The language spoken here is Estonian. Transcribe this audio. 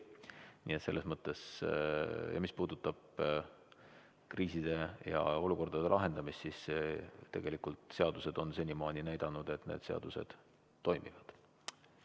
Nii et selles mõttes, mis puudutab kriiside ja olukordade lahendamist, siis tegelikult kõik on senimaani näidanud, et need seadused toimivad.